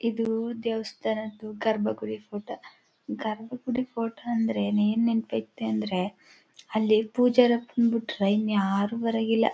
ಇದು ದೇವಸ್ಥಾನ ಗರ್ಭ ಗುಡಿ ಫೋಟೋ ಗರ್ಭ ಗುಡಿ ಫೋಟೋ ಏನ್ ನೆನಪ್ ಐತೆ ಅಂದ್ರೆ ಅಲ್ಲಿ ಪೂಜಾರಪ್ಪನ್ ಬಿಡ್ಟ್ರೇ ಇನ್ನು ಯಾರು ಬರಾಕಿಲ್ಲ.